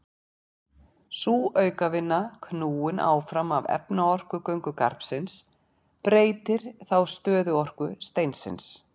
Sú aukavinna, knúin áfram af efnaorku göngugarpsins, breytir þá stöðuorku steinsins.